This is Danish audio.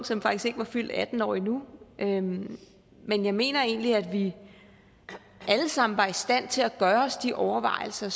som faktisk ikke var fyldt atten år endnu men men jeg mener egentlig at vi alle sammen var i stand til at gøre os de overvejelser